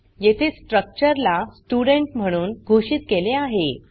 येथे स्ट्रक्चर ला स्टुडेंट म्हणून घोषित केले आहे